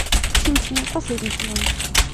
симпсоны последний сезон